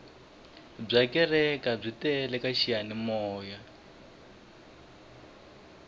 bya kereke byi tele ka xiyanimoya